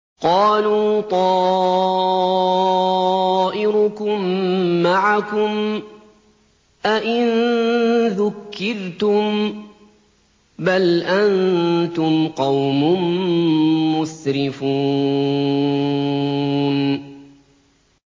قَالُوا طَائِرُكُم مَّعَكُمْ ۚ أَئِن ذُكِّرْتُم ۚ بَلْ أَنتُمْ قَوْمٌ مُّسْرِفُونَ